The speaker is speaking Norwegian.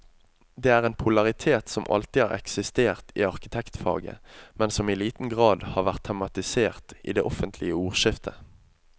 Det er en polaritet som alltid har eksistert i arkitektfaget, men som i liten grad har vært tematisert i det offentlige ordskiftet.